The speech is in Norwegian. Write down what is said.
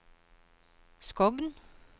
Skogn